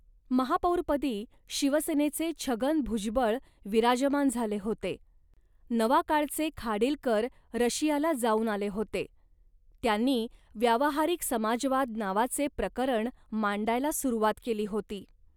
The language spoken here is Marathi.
महापौरपदी शिवसेनेचे छगन भुजबळ विराजमान झाले होते. नवाकाळ'चे खाडिलकर रशियाला जाऊन आले होते, त्यांनी 'व्यावहारिक समाजवाद' नावाचे प्रकरण मांडायला सुरवात केली होती